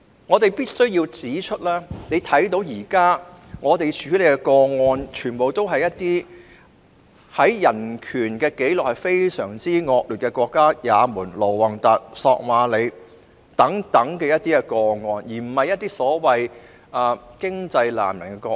我們必須要指出，現在處理的個案，全部都是涉及一些在人權紀錄上非常惡劣的國家，例如也門、盧旺達、索馬里等，而非一些經濟難民的個案。